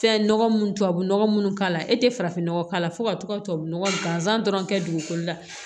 Fɛn nɔgɔ mun tubabu nɔgɔ munnu k'a la e tɛ farafin nɔgɔ k'a la fo ka to tubabu nɔgɔ ganzan dɔrɔn kɛ dugukolo la